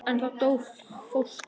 En þá dó fóstra.